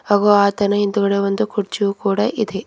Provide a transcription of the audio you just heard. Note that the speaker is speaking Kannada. ಹಾಗೂ ಆತನ ಹಿಂದ್ಗಡೆ ಒಂದು ಕುರ್ಚಿಯು ಕೂಡ ಇದೆ.